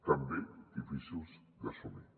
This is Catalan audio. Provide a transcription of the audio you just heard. també difícils d’assumir